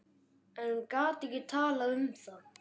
En gat ekki talað um það.